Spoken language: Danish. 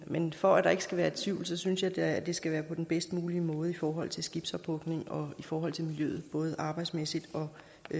men for at der ikke skal være tvivl synes jeg da det skal være på den bedst mulige måde i forhold til skibsophugning og i forhold til miljøet både arbejdsmæssigt og